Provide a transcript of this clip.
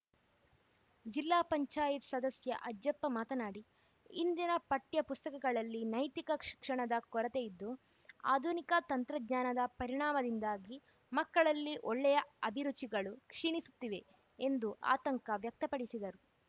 ಜಿಲ್ಲಾ ಪಂಚಾಯತ್ ಸದಸ್ಯ ಅಜ್ಜಪ್ಪ ಮಾತನಾಡಿ ಇಂದಿನ ಪಠ್ಯಪುಸ್ತಕಗಳಲ್ಲಿ ನೈತಿಕ ಶಿಕ್ಷಣದ ಕೊರತೆಯಿದ್ದು ಆಧುನಿಕ ತಂತ್ರಜ್ಞಾನದ ಪರಿಣಾಮದಿಂದಾಗಿ ಮಕ್ಕಳಲ್ಲಿ ಒಳ್ಳೆಯ ಅಭಿರುಚಿಗಳು ಕ್ಷೀಣಿಸುತ್ತಿವೆ ಎಂದು ಆತಂಕ ವ್ಯಕ್ತಪಡಿಸಿದರು